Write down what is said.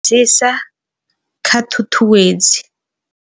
Dzisa kha ṱhuṱuwedzi.